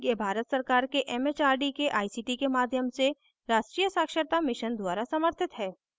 यह भारत सरकार के it it आर डी के आई सी टी के माध्यम से राष्ट्रीय साक्षरता mission द्वारा समर्थित है